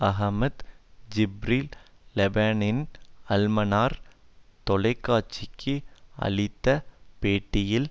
Ahmed Jibril லெபனானின் Al Manar தொலை காட்சிக்கு அளித்த பேட்டியில்